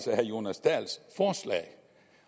herre jonas dahls forslag